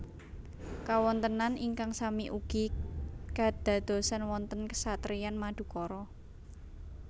Kawontenan ingkang sami ugi kedadosan wonten Kesatriyan Madukara